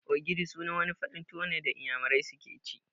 Ogidi' wani farin tuwo ne da inyamurai suke ci